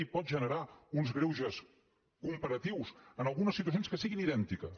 i pot generar uns greuges comparatius en algunes situacions que siguin idèntiques